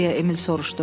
Deyə Emil soruşdu.